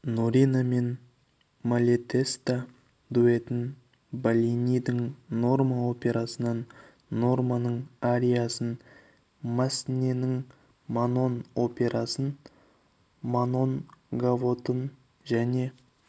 норина мен малетеста дуэтін беллинидің норма операсынан норманың ариясын массненің манон операсынан манон гавотын және